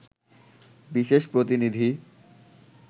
বিশেষ প্রতিনিধি